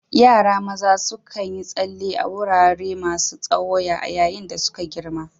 Yara maza sukan yi tsalle a wurare masu tsawo a yayin da suke girma.